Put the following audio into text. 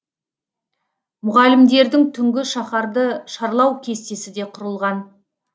мұғалімдердің түнгі шаһарды шарлау кестесі де құрылған